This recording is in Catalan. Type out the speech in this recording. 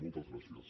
moltes gràcies